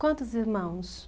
Quantos irmãos?